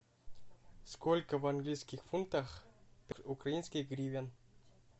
сколько в английских фунтах украинских гривен